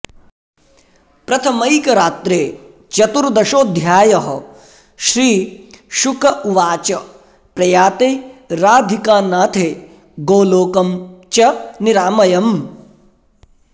प्रथमैकरात्रे चतुर्दशोऽध्यायः श्रीशुक उवाच प्रयाते राधिकानाथे गोलोकं च निरामयम्